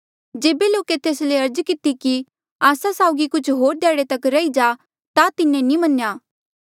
जेबे लोके तेस ले अर्ज किती कि आस्सा साउगी कुछ होर ध्याड़े तक रही जा ता तिन्हें नी मन्नेया